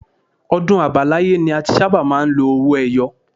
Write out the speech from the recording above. Ọdún àbáláyé ni a ti sábà máa ń lo owó ẹyọ